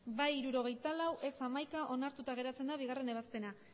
bai hirurogeita lau ez hamaika onartuta geratzen da bigarrena ebazpena